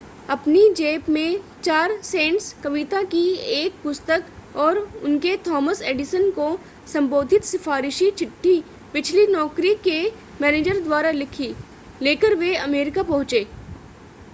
अपनी जेब में 4 सेंट्स कविता की एक पुस्तक और उनके थॉमस एडिसन को संबोधित सिफारिशी चिट्ठी पिछली नौकरी के मैनेजर द्वारा लिखी लेकर वे अमरीका पहुंचे